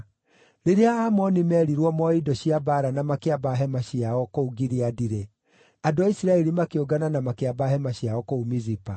Rĩrĩa Aamoni meerirwo moe indo cia mbaara na makĩamba hema ciao kũu Gileadi-rĩ, andũ a Isiraeli makĩũngana na makĩamba hema ciao kũu Mizipa.